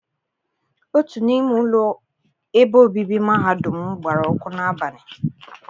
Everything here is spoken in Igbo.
Otu n'ime ụlọ ebe obibi mahadum m gbara ọkụ n'abalị.